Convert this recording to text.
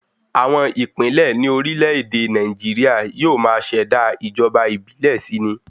Àwọn ìpínlẹ̀ ní orílẹ̀ èdè Nàìjíríà yóò máa ṣẹ̀dá ìjọba ìbílẹ̀ si ni